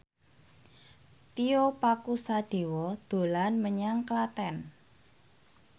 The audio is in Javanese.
Tio Pakusadewo dolan menyang Klaten